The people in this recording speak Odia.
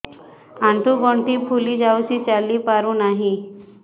ଆଂଠୁ ଗଂଠି ଫୁଲି ଯାଉଛି ଚାଲି ପାରୁ ନାହିଁ